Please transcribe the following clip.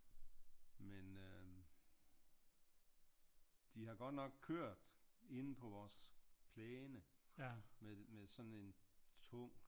Men øh de har godt nok kørt inde på vores plæne med sådan en tung